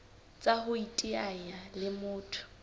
tsa ho iteanya le motho